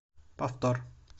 повтор